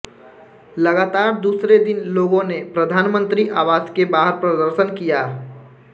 लगातार दूसरे दिन लोगों ने प्रधानमंत्री आवास के बाहर प्रदर्शन किया